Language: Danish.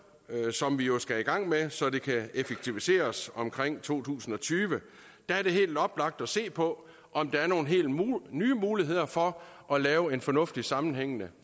som vi jo skal i gang med så det kan effektiviseres omkring to tusind og tyve der er det helt oplagt at se på om der er nogle helt nye muligheder for at lave en fornuftig sammenhængende